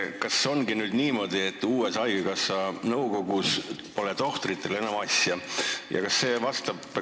Kas ongi nüüd niimoodi, et haigekassa uude nõukogusse pole tohtritel enam asja?